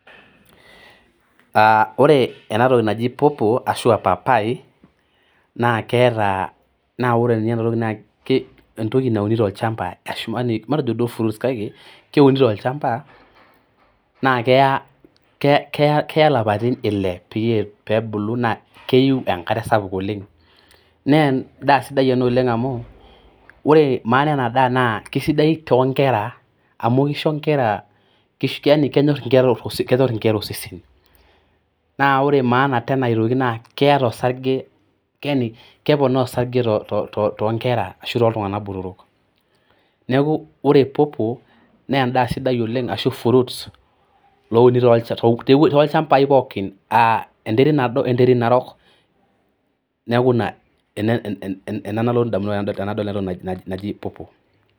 Aa ore ena toki naji popo arashu aa papaai, entoki nauni tolchamba matejo duo fruits kake keuni tolchamba naa keya ilapaitin ile peebulu naa keyieu enkare sapuk oleng'. Naa endaa sidai ena oleng' amu ore maana enadaa naa kesidai too nkera amu kisho inkera amu kenyorr keisho inkera osesen. Naa ore maana aitoki naa keeta osarge yaani keponaa osarge too nkera arashu too tunganak botorok. Neeku ore popo naa endaa sidai oleng' ashu fruits loo uni toochambai pookin aa enterit nado oo nterit narok neeku ena nalotu indamunot tenadol ena toki naji popo.